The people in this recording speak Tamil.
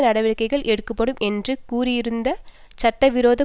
நடவடிக்கைகள் எடுக்கப்படும் என்று கூறியிருந்தது சட்ட விரோத